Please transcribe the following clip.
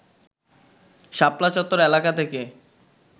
শাপলা চত্বর এলাকা থেকে